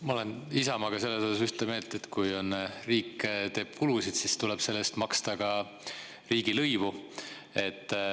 Ma olen Isamaaga selles osas ühte meelt, et kui riik teeb kulusid, siis tuleb selle eest maksta ka riigilõivu.